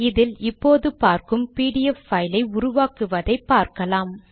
இதில் இப்போது பார்க்கும் பிடிஎஃப் பைல் ஐ உருவாக்குவதை பார்க்கலாம்